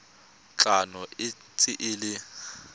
tlhano e ntse e le